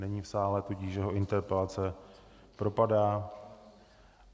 Není v sále, tudíž jeho interpelace propadá.